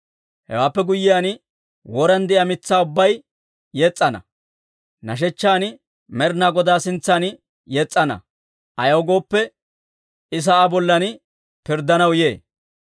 Hewaappe guyyiyaan woran de'iyaa mitsaa ubbay yes's'ana; nashechchan Med'inaa Godaa sintsan yes's'ana. Ayaw gooppe, I sa'aa bollan pirddanaw yee.